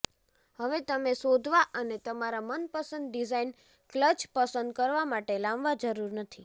હવે તમે શોધવા અને તમારા મનપસંદ ડિઝાઇન ક્લચ પસંદ કરવા માટે લાંબા જરૂર નથી